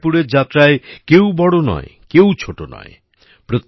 পনঢরপুরের যাত্রায় কেউ বড় নয় কেউ ছোট নয়